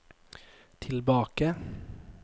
tilbake